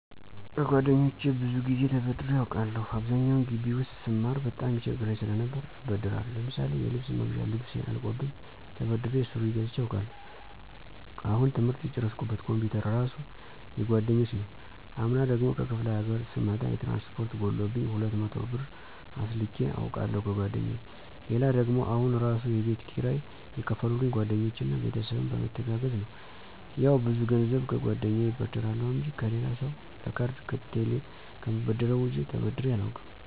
ከጓደኞቼ ብዙ ጊዜ ተበድሬ አውቃለሁ። አብዛኛውን ጊቢ ውስጥ ስማር በጣም ይቸግረኝ ሰለነበር እበደራለሁ። ለምሳሌ የልብስ መግዣ ልብሴ አልቆብኝ ተበድሬ ሱሪ ገዝቸ አውቃለሁ። አሁን ትምህርት የጨረስኩበት ኮምፒውተር እራሱ የጓደኞች ነው። አምና ደግሞ ከክፍለ ሀገር ስመጣ የትራንስፖርት ጎሎብኝ 200 ብር አስልኬ አውቃለሁ ከጓደኛየ። ሌላ ደግሞ አሁን እራሱ የቤት ኪራይ የከፈሉልኝ ጓደኞቼ እና ቤተሰብም በመተጋገዝ ነው። ያው ብዙ ገንዘብ ከጓደኛየ እበደራለሁ እንጂ ከሌላ ሰው ለካርድ ከቴሌ ከምበደረው ውጭ ተበድሬ አላውቅም።